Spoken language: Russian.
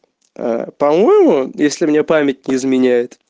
э по-моему если мне память не изменяет